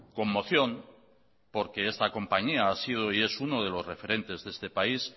conmoción porque esta compañía ha sido y es uno de los referentes de este país